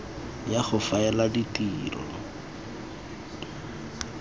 ya go faela ya ditiro